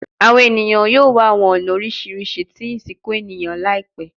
Awọn eniyan yoo wa awọn ọna oriṣiriṣi ti isinku eniyan laipẹ